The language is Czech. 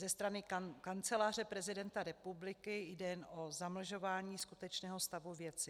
Ze strany Kanceláře prezidenta republiky jde jen o zamlžování skutečného stavu věci.